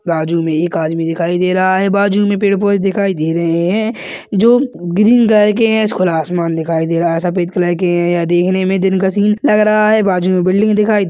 बाजु में एक आदमी दिखाई दे रहा है बाजु में पेड़-पौधे दिखाई दे रहे है जो ग्रीन कलर के है खुला आसमान दिखाई दे रहा है सफ़ेद कलर के यह देखने में दिन का सीन लग रहा है बाजु में बिल्डिंग दिखाई--